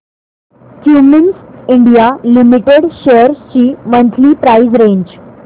Cummins India limited shares ची monthly price range